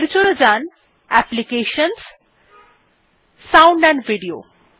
এর জন্য যান applications GT sound AMP video